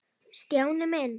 Stjáni minn.